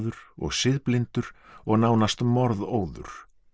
og siðblindur og nánast morðóður